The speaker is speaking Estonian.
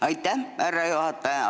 Aitäh, härra juhataja!